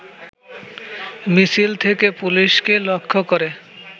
মিছিল থেকে পুলিশকে লক্ষ্য করে